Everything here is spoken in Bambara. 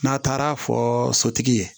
N'a taara fɔ sotigi ye